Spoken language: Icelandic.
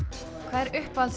hvað er uppáhalds